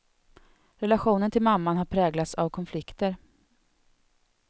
Relationen till mamman har präglats av konflikter.